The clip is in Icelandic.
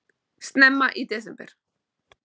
Snemma í desember